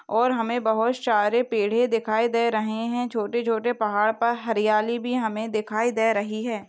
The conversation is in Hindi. और हमे बहुत सारे पेड़ दिखाई दे रहे हे छोटे छोटे पहाड़ पर हरियाली भी हमे दिखाई दे रही हे।